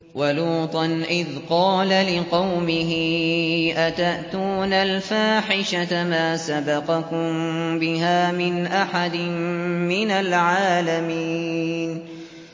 وَلُوطًا إِذْ قَالَ لِقَوْمِهِ أَتَأْتُونَ الْفَاحِشَةَ مَا سَبَقَكُم بِهَا مِنْ أَحَدٍ مِّنَ الْعَالَمِينَ